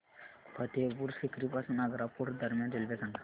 फतेहपुर सीकरी पासून आग्रा फोर्ट दरम्यान रेल्वे सांगा